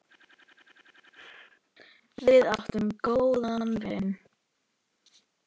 Við áttum góðan vin.